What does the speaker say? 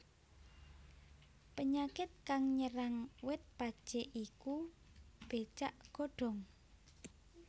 Penyakit kang nyerang wit pacé iku becak godhong